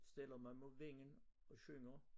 Stiller mig mod vinden og synger